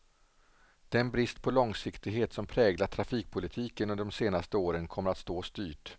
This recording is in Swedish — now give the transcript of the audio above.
Den brist på långsiktighet som präglat trafikpolitiken under de senaste åren kommer att stå oss dyrt.